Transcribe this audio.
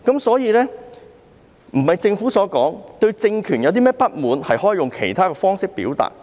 所以，並非如政府所言，如對政權有任何不滿，可以用其他方式表達。